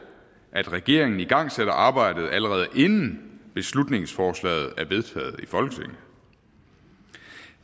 at regeringen igangsætter arbejdet allerede inden beslutningsforslaget er vedtaget i folketinget